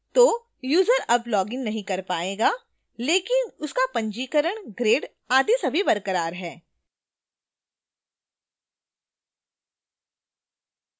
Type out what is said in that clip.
तो यूजर अब login नहीं कर पाएगा लेकिन उसका पंजीकरण grades आदि सभी बरकरार हैं